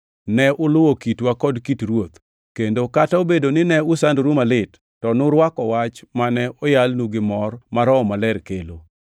Ne uluwo kitwa kod kit Ruoth; kendo kata obedo ni ne usandoru malit, to nurwako wach mane oyalnu gi mor ma Roho Maler kelo.